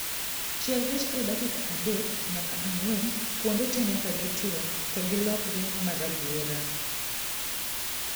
Chiel rech e dakika adek nyaka ang'wen kuonde tee nyaka gituo to gilokre marabuora